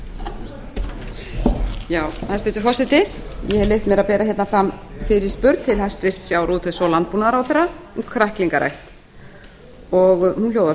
forseti ég hef leyft mér að bera fram fyrirspurn til hæstvirts sjávarútvegs og landbúnaðarráðherra um kræklingarækt hún hljóðar